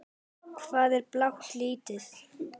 Hvað er blátt lítið?